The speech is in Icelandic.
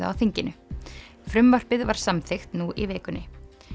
á þinginu frumvarpið var samþykkt nú í vikunni